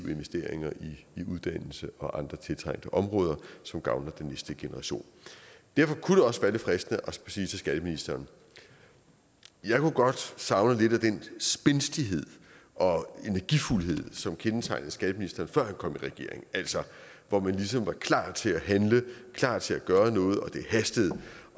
investeringer i uddannelse og andre trængte områder som gavner den næste generation derfor kunne også være lidt fristende at sige til skatteministeren jeg kunne godt savne lidt af den spændstighed og energi som kendetegnede skatteministeren før han kom i regering altså hvor man ligesom var klar til at handle klar til at gøre noget og det hastede